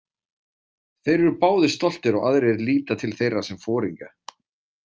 Þeir eru báðir stoltir og aðrir líta til þeirra sem foringja.